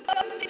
Gott ráð.